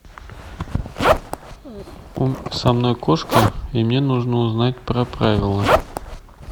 со мной кошка и мне нужно узнать про правила